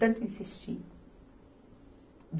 Tanto insistir.